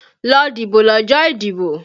Lọ dìbò lọ́jọ́ ìdìbò!